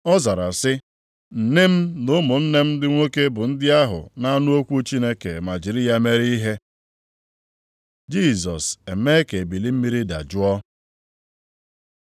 Ọ zara sị, “Nne m na ụmụnne m ndị nwoke bụ ndị ahụ na-anụ okwu Chineke ma jiri ya mere ihe.” Jisọs emee ka ebili mmiri dajụọ